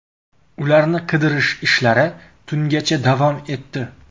Ularni qidirish ishlari tungacha davom etdi.